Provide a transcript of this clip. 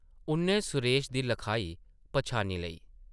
उʼन्नै सुरेश दी लखाई पन्छानी लेई ।